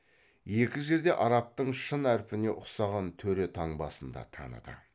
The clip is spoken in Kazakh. екі жерде араптың шын әрпіне ұқсаған төре таңбасын да таныды